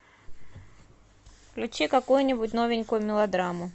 включи какую нибудь новенькую мелодраму